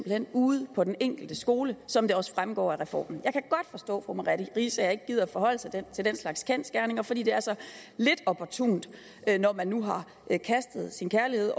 hen ude på den enkelte skole som det også fremgår af reformen jeg kan forstå at fru merete riisager ikke gider at forholde sig til den slags kendsgerninger fordi det er så lidt opportunt når man nu har kastet sin kærlighed